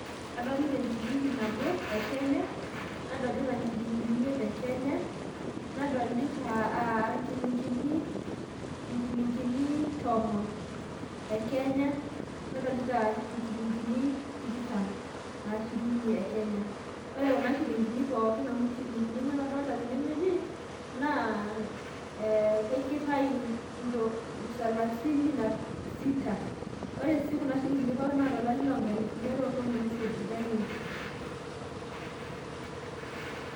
Adolita enchilingi nabo e kenya nadolita nchilingini imiet e kenya, nadolita aah aa nchilingini chilingini tomon e kenya, nadolita nchilingini tikitam arashu shirini e kenya, ore kuna nchilingini pookin amu nchilingini onguan adolita tenewueji na ee keitayu salasini na sita. ore si kuna shilingini pookin na tolari longalifuni are otomon oisiet itobiraki.